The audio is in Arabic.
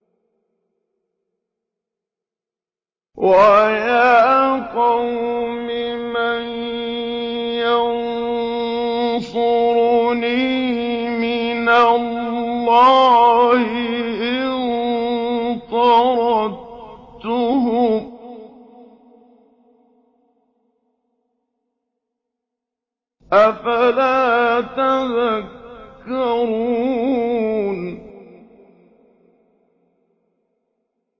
وَيَا قَوْمِ مَن يَنصُرُنِي مِنَ اللَّهِ إِن طَرَدتُّهُمْ ۚ أَفَلَا تَذَكَّرُونَ